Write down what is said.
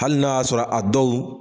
Hali n'a y'a sɔrɔ a dɔw